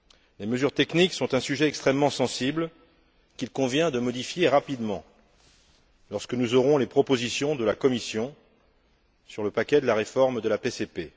Les mesures techniques sont un sujet extrêmement sensible, qu'il convient de modifier rapidement, lorsque nous aurons les propositions de la Commission sur le paquet de réformes de la PCP.